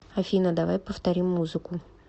афина давай повторим музыку